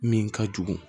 Min ka jugu